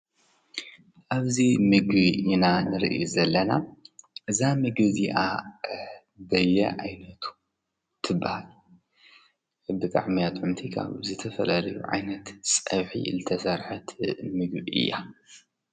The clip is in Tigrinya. እብዚ ምግቢ ኢና ንርኢ ዘለና እዛ ምግቢ እዚአ በየዓይነቱ ትበሃል። ብጣዕሚ እያ ትፍቶ ዝተፈላለዩ ዓይነት ፀብሒ ዝተሰርሐት ምግቢ እያ።